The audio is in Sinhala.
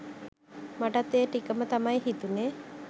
මටත් ඒ ටිකම තමයි හිතුනේ